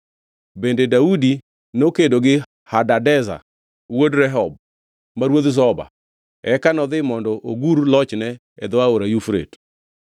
Bende Daudi nokedo gi Hadadezer wuod Rehob, ma ruodh Zoba, eka nodhi mondo ogur lochne e dho Aora Yufrate.